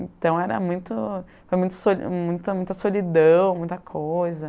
Então, era muito, foi muito soli muita muita solidão, muita coisa.